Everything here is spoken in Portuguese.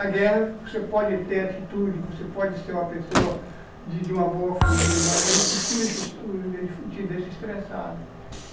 A guerra, você pode ter atitude, você pode ser uma pessoa de de uma boa família, mas ela te tira, te deixa estressado.